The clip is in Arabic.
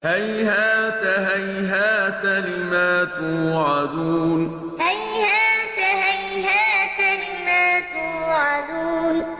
۞ هَيْهَاتَ هَيْهَاتَ لِمَا تُوعَدُونَ ۞ هَيْهَاتَ هَيْهَاتَ لِمَا تُوعَدُونَ